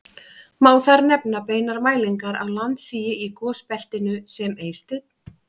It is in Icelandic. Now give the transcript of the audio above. Má þar nefna beinar mælingar á landsigi í gosbeltinu sem Eysteinn